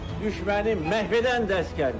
Düşməni məhv edən də əsgərdir.